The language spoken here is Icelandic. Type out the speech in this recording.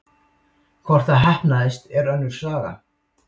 Hvort það heppnaðist er önnur saga.